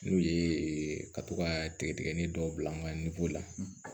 N'o ye ka to ka tigɛtigɛli dɔw bila an ka la